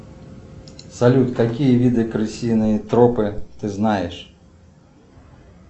салют какие виды крысиные тропы ты знаешь